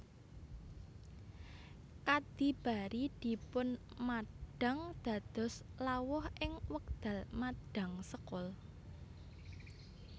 Kadhi bari dipunmadhang dados lawuh ing wekdal madhang sekul